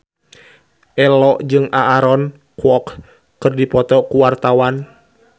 Ello jeung Aaron Kwok keur dipoto ku wartawan